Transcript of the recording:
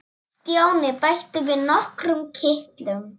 Stjáni bætti við nokkrum kitlum.